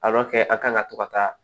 a kan ka to ka taa